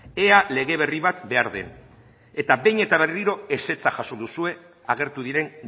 ea lege berri bat behar den eta behin eta berriro ezetza jaso duzue agertu diren